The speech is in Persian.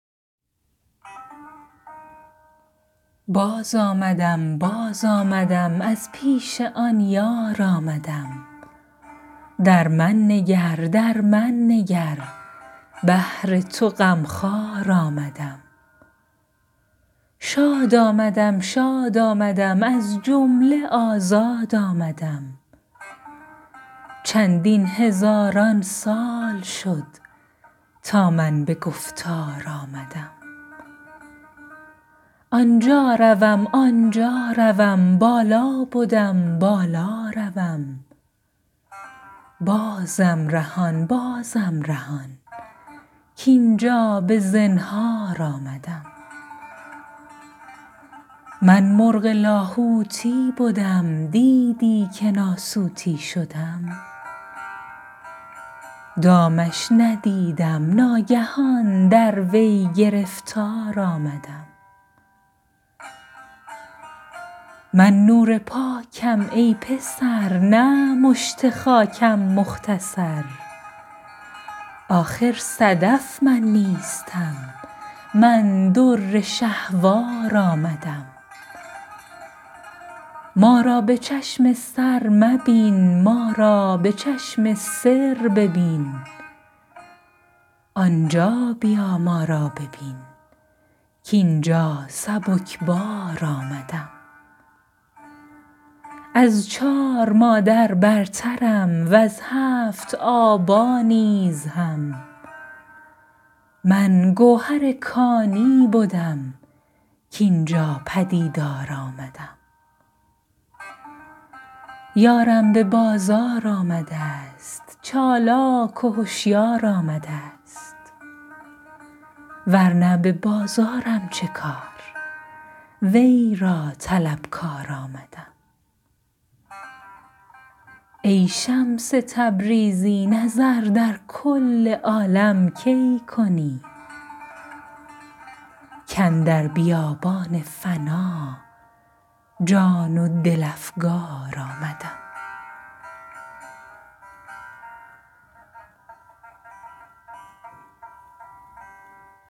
باز آمدم باز آمدم از پیش آن یار آمدم در من نگر در من نگر بهر تو غم خوار آمدم شاد آمدم شاد آمدم از جمله آزاد آمدم چندین هزاران سال شد تا من به گفتار آمدم آن جا روم آن جا روم بالا بدم بالا روم بازم رهان بازم رهان کاین جا به زنهار آمدم من مرغ لاهوتی بدم دیدی که ناسوتی شدم دامش ندیدم ناگهان در وی گرفتار آمدم من نور پاکم ای پسر نه مشت خاکم مختصر آخر صدف من نیستم من در شهوار آمدم ما را به چشم سر مبین ما را به چشم سر ببین آن جا بیا ما را ببین کاین جا سبک بار آمدم از چار مادر برترم وز هفت آبا نیز هم من گوهر کانی بدم کاین جا به دیدار آمدم یارم به بازار آمده ست چالاک و هشیار آمده ست ور نه به بازارم چه کار وی را طلبکار آمدم ای شمس تبریزی نظر در کل عالم کی کنی کاندر بیابان فنا جان و دل افگار آمدم